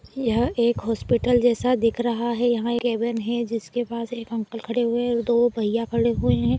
यह एक हॉस्पिटल जैसा दिख रहा है यहाँ एक कैबिन है जिसके पास एक अंकल खड़े हुए है और दो भैया खड़े हुए है।